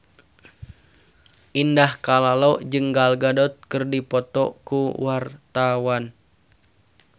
Indah Kalalo jeung Gal Gadot keur dipoto ku wartawan